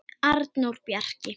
Arnór Bjarki.